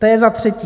To je za třetí.